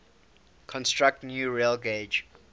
construct new railgauge